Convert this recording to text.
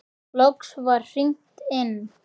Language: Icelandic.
Loks var hringt inn.